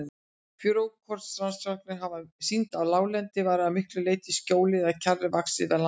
Frjókornarannsóknir hafa sýnt að láglendi var að miklu leyti skógi eða kjarri vaxið við landnám.